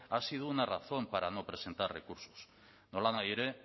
ha sido una razón para no presentar recursos nolanahi ere